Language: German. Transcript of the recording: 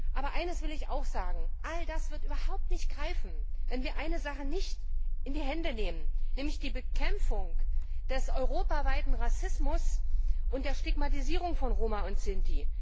Aber eines will ich auch sagen All das wird überhaupt nicht greifen, wenn wir nicht eines in die Hand nehmen, nämlich die Bekämpfung des europaweiten Rassismus und der Stigmatisierung von Roma und Sinti.